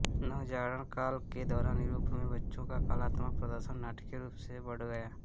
नवजागरण काल के दौरान यूरोप में बच्चों का कलात्मक प्रदर्शन नाटकीय रूप से बढ गया